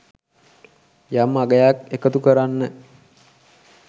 යම් අගයක් එකතු කරන්න